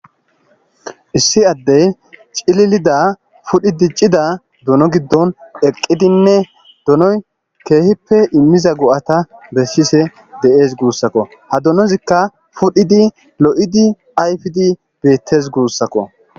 issi addey cililida fudhi diccida duno giddon eqqidinne dunoy keehippe immiza go7ata bessise de7ees guussakko ha dunozikka pudhidi lo7idi ayfidi beettes guussakko